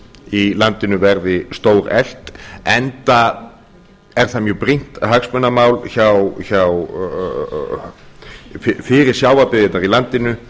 í landinu verði stóreflt enda er það mjög brýnt hagsmunamál fyrir sjávarbyggðirnar í landinu